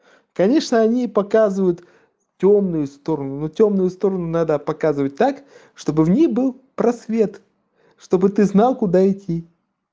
конечно они показывают тёмные стороны но тёмную сторону надо показывать так чтобы в ней был просвет чтобы ты знал куда идти